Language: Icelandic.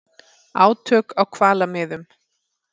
Átök á hvalamiðum